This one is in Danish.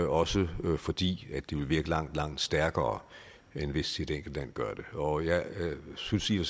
også fordi det vil virke langt langt stærkere end hvis et enkelt land gør det og jeg synes i og